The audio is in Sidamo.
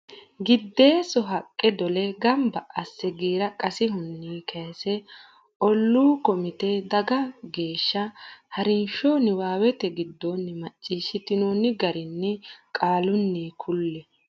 Giddeesso haqqe dole gamba asse giira qasihunni kayse olluu komite dagga geeshsha ha rinsho niwaawete giddonni macciishshitinoonni garinni qaalunni kulle.